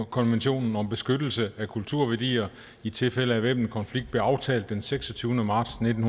konventionen om beskyttelse af kulturværdier i tilfælde af væbnede konflikter blev aftalt den seksogtyvende marts nitten